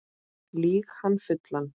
Lýg hann fullan